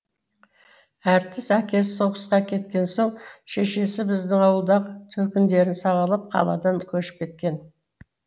әртіс әкесі соғысқа кеткен соң шешесі біздің ауылдағы төркіндерін сағалап қаладан көшіп кеткен